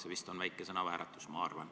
See oli vist väike sõnavääratus.